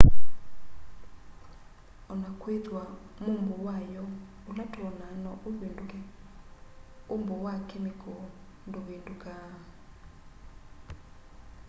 o na kwithw'a mumbo wayo ula twonaa no uvinduke umbo wa kemikoo nduvindukaa